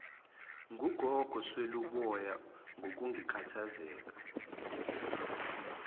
ngugogo sweluboya ngokukhathazeka